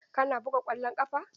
Kana buga ƙwallon ƙafa?